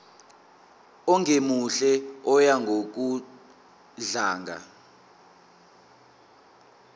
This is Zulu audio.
ongemuhle oya ngokudlanga